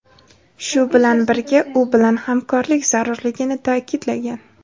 shu bilan birga u bilan hamkorlik zarurligini ta’kidlagan.